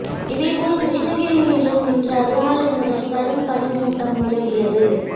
இதே போல் கிருஷ்ணகிரியிலும் இன்று அதிகாலை முதல் கடும் பனி மூட்டம் நிலவியது